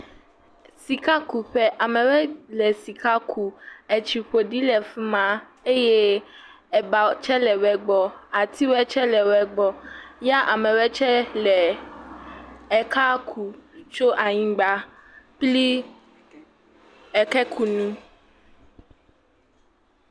Sikakuƒe, amewe le sika kum, etsi ƒoɖi le fi ma eye eba tsɛ le wɛ gbɔ, atiwɛ tsɛ le wɛ gbɔ ya amewɛ tsɛ le ekea kum tso anyigba kpli ekekunu.